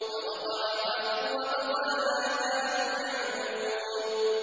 فَوَقَعَ الْحَقُّ وَبَطَلَ مَا كَانُوا يَعْمَلُونَ